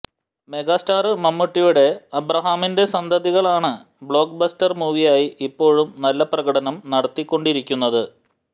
megastar മമ്മൂട്ടിയുടെ അബ്രഹാമിന്റെ സന്തതികളാണ് ബ്ലോക്ബസ്റ്റര് മൂവിയായി ഇപ്പോഴും നല്ല പ്രകടനം നടത്തി കൊണ്ടിരിക്കുന്നത്